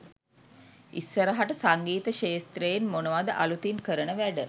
ඉස්සරහට සංගීත ක්ෂේත්‍රයෙන් මොනවද අලුතින් කරන වැඩ?